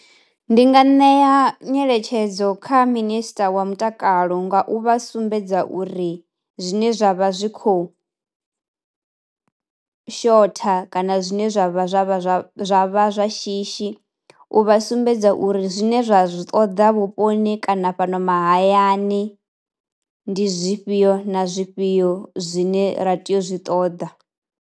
Ndi nga ṋea nyeletshedzo kha minister wa mutakalo nga u vha sumbedza uri zwine zwa vha zwi khou shotha kana zwine zwa vha zwa vha zwa zwa vha zwa shishi, u vha sumbedza uri zwine zwa zwi ṱoḓa vhuponi kana fhano mahayani ndi zwifhio na zwifhio zwine ra tea u zwi ṱoḓa.